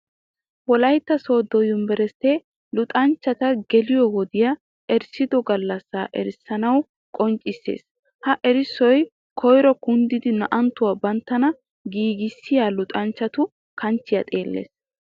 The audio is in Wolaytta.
Wolaytta soodo yunbberistte luxanchchatta geliyo wodiya erissiddo galassa erissuwan qonccisses. Ha erissoy koyro kunddidi naa'attuwa banttanna giigissiya luxanchchattu kanchchiya xeeles.